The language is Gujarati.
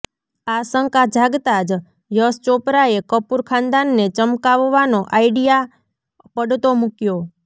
આ શંકા જાગતાં જ યશ ચોપરાએ કપૂર ખાનદાનને ચમકાવવાનો આઈડિયા પડતો મૂક્યો